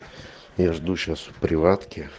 я жду сейчас в приватке